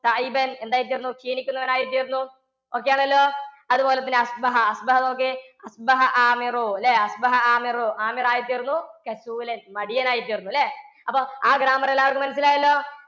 എന്തായിത്തീര്‍ന്നു. ശീലിക്കുന്നവനായിത്തീര്‍ന്നു. okay ആണല്ലോ? അതുപോലെതന്നെ നോക്ക്യേ. ല്ലേ? ആമിറായിത്തീര്‍ന്നു. മടിയനായിത്തീര്‍ന്നു ല്ലേ? അപ്പൊ ആ grammar എല്ലാര്‍ക്കും മനസ്സിലായല്ലോ.